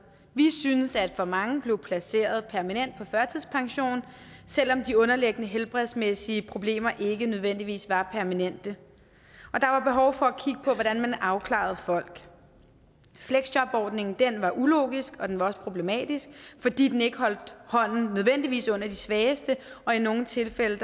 vi synes at for mange blev placeret permanent på førtidspension selv om de underliggende helbredsmæssige problemer ikke nødvendigvis var permanente og der var behov for at kigge på hvordan man afklarede folk fleksjobordningen var ulogisk og den var også problematisk fordi den ikke nødvendigvis under de svageste og i nogle tilfælde